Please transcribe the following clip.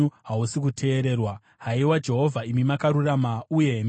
Haiwa Jehovha, imi makarurama, uye mirayiro yenyu yakarurama.